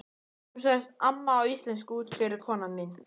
Hún sagði amma á íslensku útskýrði kona mín.